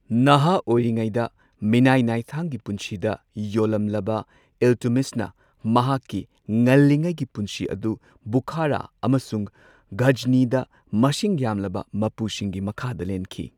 ꯅꯍꯥ ꯑꯣꯏꯔꯤꯉꯩꯗ ꯃꯤꯅꯥꯏ ꯅꯥꯏꯊꯥꯡꯒꯤ ꯄꯨꯟꯁꯤꯗ ꯌꯣꯜꯂꯝꯂꯕ ꯏꯜꯇꯨꯠꯃꯤꯁꯅ ꯃꯍꯥꯛꯀꯤ ꯉꯜꯂꯤꯉꯩꯒꯤ ꯄꯨꯟꯁꯤ ꯑꯗꯨ ꯕꯨꯈꯥꯔꯥ ꯑꯃꯁꯨꯡ ꯘꯖꯅꯤꯗ ꯃꯁꯤꯡ ꯌꯥꯝꯂꯕ ꯃꯄꯨꯁꯤꯡꯒꯤ ꯃꯈꯥꯗ ꯂꯦꯟꯈꯤ꯫